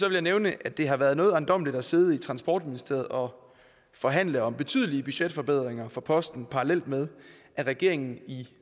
jeg nævne at det har været noget ejendommeligt at sidde i transportministeriet og forhandle om betydelige budgetforbedringer for posten parallelt med at regeringen i